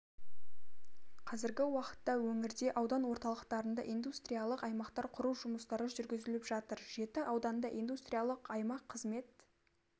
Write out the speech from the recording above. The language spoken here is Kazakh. қазіргі уақытта өңірде аудан орталықтарында индустриялық аймақтар құру жұмыстары жүргізіліп жатыр жеті ауданда индустриялық аймақ қызмет